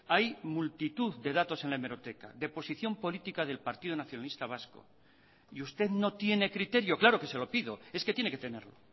hay multitud de datos en la hemeroteca de posición política del partido nacionalista vasco y usted no tiene criterio claro que se lo pido es que tiene que tenerlo